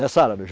Nessa área.